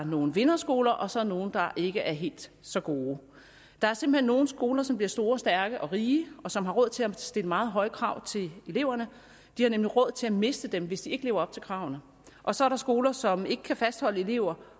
nogle vinderskoler og så nogle der ikke er helt så gode der er simpelt hen nogle skoler som bliver store og stærke og rige og som har råd til at stille meget høje krav til eleverne de har nemlig råd til at miste dem hvis eleverne ikke lever op til kravene og så er der skoler som ikke kan fastholde elever